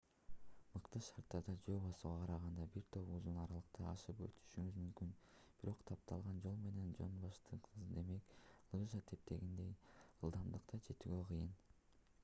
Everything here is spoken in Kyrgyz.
мыкты шарттарда жөө басууга караганда бир топ узун аралыктарды ашып өтүшүңүз мүмкүн бирок тапталган жол менен жонбаштыксыз демейки лыжа тепкендегидей ылдамдыкка жетүүгө кыйын